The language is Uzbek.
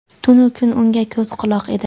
tunu kun unga ko‘z-quloq edi.